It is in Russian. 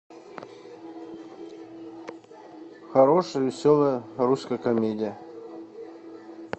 хорошая веселая русская комедия